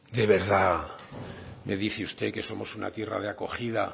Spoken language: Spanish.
de verdad me dice usted que somos una tierra de acogida